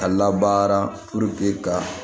A labaara ka